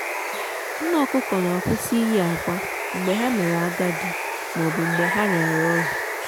nne ọkụkọ na kwụsị iyi akwa mgbe ha mere agadi maọbụ mgbe ha ha rịara ọrịa